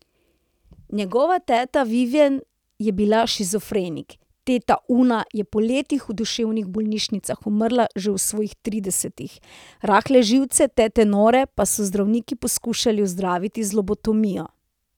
Njegova teta Viven je bila shizofrenik, teta Una je po letih v duševnih bolnišnicah umrla že v svojih tridesetih, rahle živce tete Nore pa so zdravniki poskušali ozdraviti z lobotomijo.